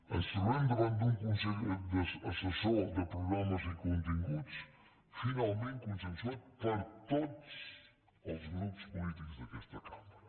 ens trobem davant d’un consell assessor de programes i continguts finalment consensuat per totsd’aquesta cambra